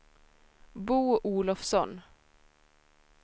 Bo Olofsson